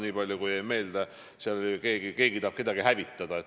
Nii palju mulle jäi meelde, et oli öeldud, et keegi tahab kedagi hävitada.